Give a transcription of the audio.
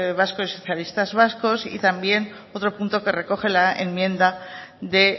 vascos y socialistas vascos y también otro punto que recoge la enmienda de